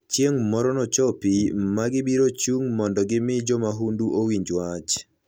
Chieng' moro nochopi ma gibiro chung' mondo gimi jo mahundu owinj wach.